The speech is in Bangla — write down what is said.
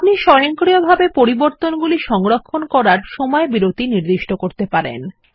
আপনি স্বয়ংক্রিয়ভাবে পরিবর্তনগুলি সংরক্ষণ করার সময় বিরতি নির্দিষ্ট করতে পারেন